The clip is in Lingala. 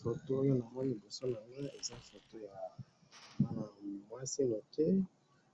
photo oyo na moni liboso na ngayi eza photo ya mwana mwasi moke